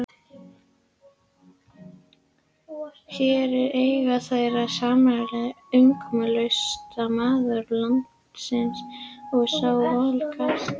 Hér eiga þeir samleið, umkomulausasti maður landsins og sá voldugasti.